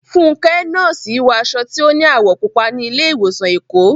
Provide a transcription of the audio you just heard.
Fúnkẹ́, nọ́ọ̀sì, wọ aṣọ tí ó ní àwọ̀ púpọ̀ ní ilé ìwòsàn Èkó.